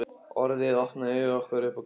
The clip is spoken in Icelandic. Orðið opnaði augu okkar upp á gátt.